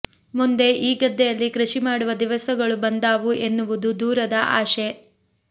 ಮುಂದೆ ಈ ಗದ್ದೆಯಲ್ಲಿ ಕೃಷಿ ಮಾಡುವ ದಿವಸಗಳು ಬಂದಾವು ಎನ್ನುವುದು ದೂರದ ಆಶೆ